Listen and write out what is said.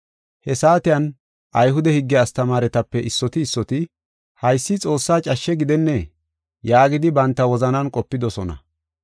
He saatiyan, Ayhude higge astamaaretape issoti issoti, “Haysi Xoossaa cashshe gidenne” yaagidi banta wozanan qopidosona.